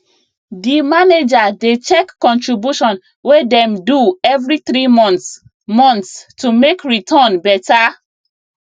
the manager dey check contribution wey dem do every three months months to make return better